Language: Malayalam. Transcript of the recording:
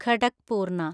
ഖടക്പൂർണ